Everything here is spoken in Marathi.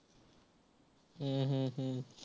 हम्म हम्म हम्म